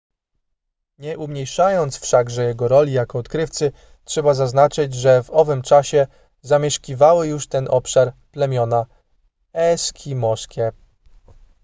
nie umniejszając wszakże jego roli jako odkrywcy trzeba zaznaczyć że w owym czasie zamieszkiwały już ten obszar plemiona eskimoskie